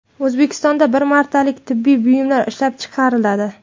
O‘zbekistonda bir martalik tibbiyot buyumlari ishlab chiqariladi.